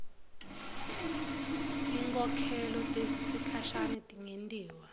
tinkhokhelo tesikhashane tingentiwa